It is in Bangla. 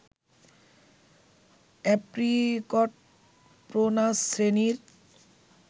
অ্যাপ্রিকট প্রুনাস শ্রেণীর